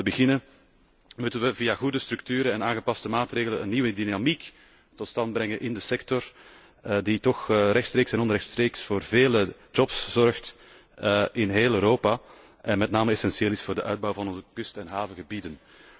Om te beginnen moeten we via goede structuren en aangepaste maatregelen een nieuwe dynamiek tot stand brengen in de sector, die toch rechtstreeks en onrechtstreeks voor vele jobs zorgt in heel Europa, en met name essentieel is voor de uitbouw van onze kust en havengebieden.